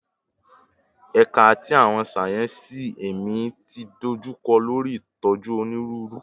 Ẹka ti Awọn sáyẹnsì Ẹmi ti dojukọ lori itoju Oniruuru